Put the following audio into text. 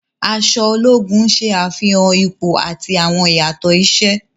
Aṣọ ologun ṣe afihan ipo ati awọn iyatọ iṣẹ.